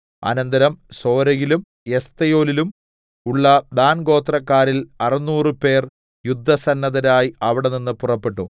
അനന്തരം സോരയിലും എസ്തായോലിലും ഉള്ള ദാൻഗോത്രക്കാരിൽ അറുനൂറു പേർ യുദ്ധസന്നദ്ധരായി അവിടെനിന്ന് പുറപ്പെട്ടു